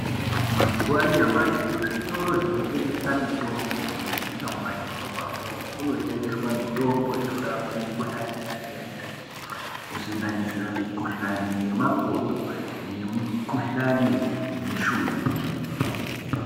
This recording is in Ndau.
Mazuwa anyamashi kuzvitoro zvinotengesa mitombo kunyanyisa mumadhorobha mwomwo munotengeswa mitombo inorapa mikhuhlani yakasiyana -siyana kusanganisira mikhuhlani yemakodo nemukhuhlani yemishuna yeshe.